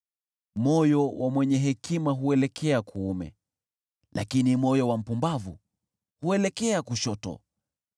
Moyo wa mwenye hekima huelekea kuume, lakini moyo wa mpumbavu huelekea kushoto.